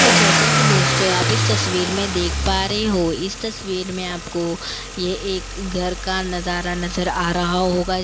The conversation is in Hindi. तो जैसा कि दोस्तों आप इस तस्वीर में देख पा रहे हो इस तस्वीर में आपको ये एक घर का नजारा नजर आ रहा होगा--